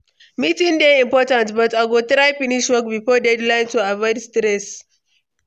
Meetings dey important, but I go try finish work before deadline to avoid stress.